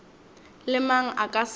le mang a ka se